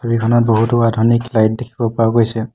ছবিখনত বহুতো আধুনিক লাইট দেখিব পোৱা গৈছে।